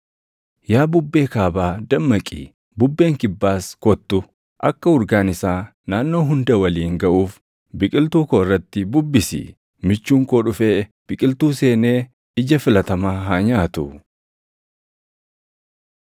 Yaa bubbee kaabaa dammaqi; bubbeen kibbaas kottu! Akka urgaan isaa naannoo hunda waliin gaʼuuf biqiltuu koo irratti bubbisi. Michuun koo dhufee, biqiltuu seenee ija filatamaa haa nyaatu.